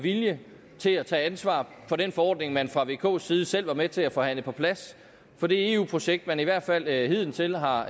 vilje til at tage ansvar for den forordning som man fra vks side selv var med til at forhandle på plads for det eu projekt som man i hvert fald hidtil har